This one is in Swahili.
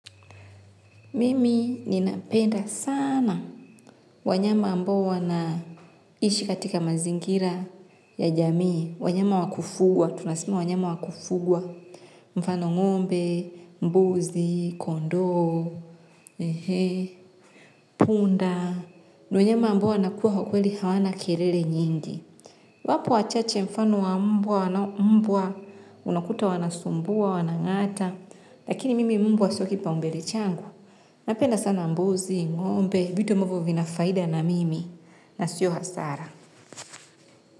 Mimi ninapenda sana wanyama ambao wanaishi katika mazingira ya jamii. Wanyama wakufugwa, tunasema wanyama wakufugwa. Mfano ngombe, mbuzi, kondoo, ehe, punda. Ni wanyama ambao wanakuwa kwa kweli hawana kelele nyingi. Wapo wachache mfano wa mbwa, wanao mbwa, unakuta wanasumbua, wanangata. Lakini mimi mbwa sio kipa umbele changu. Napenda sana mbuzi, mwombe, vitu abmvyo vinafaida na mimi, nasio hasara.